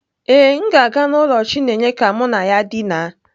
Ee, m ga-aga n'ụlọ chineye ka mụ na ya dina.